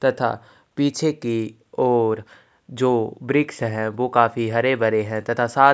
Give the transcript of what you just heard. तथा पीछे की ओर जो वृक्ष है वो काफ़ी हरे भरे है तथा साथ--